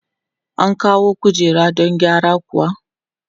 An kawo kujera don gyara kuwa?